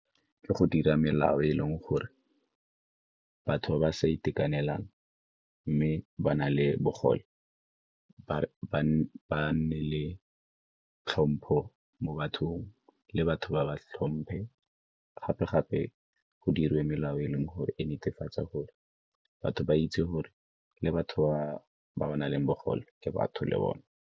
Ke go dira melao e e leng gore batho ba ba sa itekanelang mme ba na le bogole ba nne le tlhompho mo bathong le batho ba ba tlhomphe. Gape-gape go diriwe melao e leng gore e netefatsa gore batho ba itse gore le batho ba ba nang le bogole ke batho le bone.